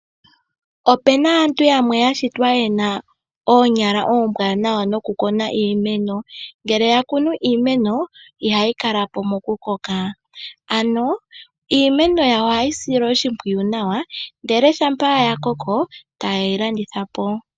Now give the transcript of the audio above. Opena aantu yamwe yashitwa yena oonyala ombwaanawa nokukuna iimeno ngele yakunu iimeno, ihayi kala po mokukoka ano iimeno yawo ohayi silwa oshimwiyu nawa ndele shampa yakoko ta ye yi landitha po.